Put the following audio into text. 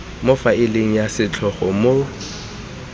mo faeleng ya setlhogo mo